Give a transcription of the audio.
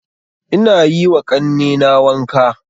Ina yiwa ƙannena wanka